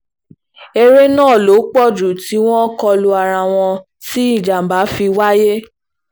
èrè náà ló pọ̀ jù tí wọn kò lu ara wọn tí ìjàm̀bá fi wáyé